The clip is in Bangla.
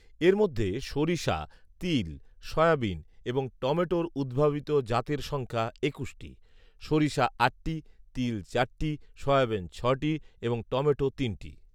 এর মধ্যে সরিষা, তিল, সয়াবিন এবং টমেটোর উদ্ভাবিত জাতের সংখ্যা একুশটি সরিষা আটটি, তিল চারটি, সয়াবিন ছটি এবং টমেটো তিনটি